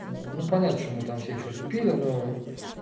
ну понятно что мы там все что-то пили но